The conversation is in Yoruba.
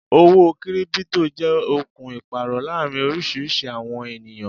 Owó 'Kírípútò' jẹ́ okùn Ìpàrò láàrin oriísirísi àwọn ènìyàn